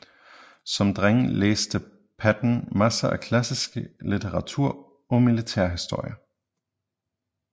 Som dreng læste Patton masser af klassisk litteratur og militærhistorie